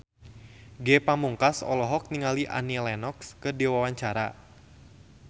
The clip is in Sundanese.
Ge Pamungkas olohok ningali Annie Lenox keur diwawancara